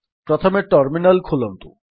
ପ୍ରଥମେ ଟର୍ମିନାଲ୍ ଖୋଲନ୍ତୁ